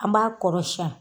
An b'a kɔrɔsiyɛn